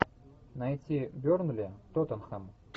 найти бернли тоттенхэм